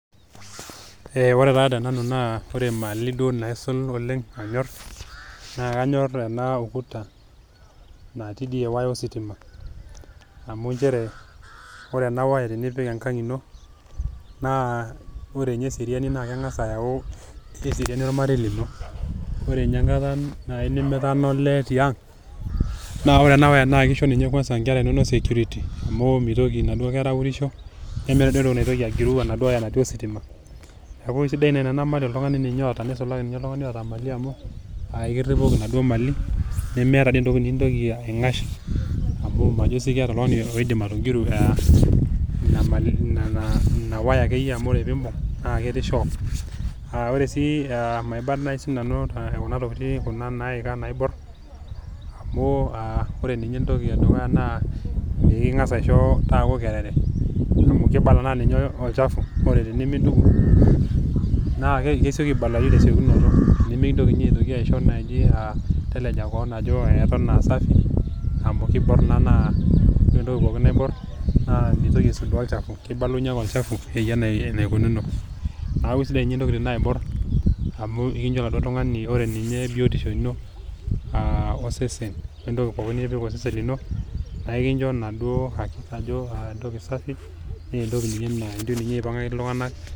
Ore taa tenanu naa ore emali duo naisul oleng anyor naa kenyor ena ukuta natii ewaya ositima amu nchere ore ninye enawaya tenipik enkang ino naa ore ninye eseriani naa kengas ayau eseriani ormarei lino , ore ninye enkata nai nimitana olee tiang naa ore enawaya naa kisho ninye inkera inonok security amu mitoki aurisho nemeeta entoki naitoki agiru enaduo waya natii ositima , neku isidai naa ena neisulaki ninye oltungani oota imali amu ekiripoki inaduo mali nemeeta entoki nintoki aingash amu majo sii keeta oltungani oidim atogiru inawaya amu ore pimbung naa ketii shock . Maiba nai sinanu kuna tokitin kuna naika naibor amu ore entoki edukukuya naa pekingas aisho taaku kerere aamu kibala ajo ninye olchafu amu ore entoki pookin naibor naa mitoki aisudoo olchafu.